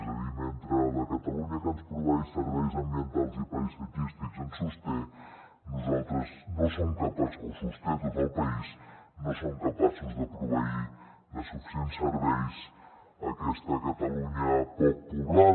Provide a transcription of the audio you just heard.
és a dir mentre la catalunya que ens proveeix serveis ambientals i paisatgístics ens sosté o sosté tot el país no som capaços de proveir de suficients serveis aquesta catalunya poc poblada